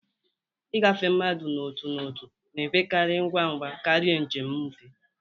Ịgafe mmadụ n'otu n'otu na-enwekarị ngwa ngwa karịa njem nfe